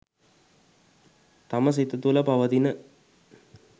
තම සිත තුළ පවතින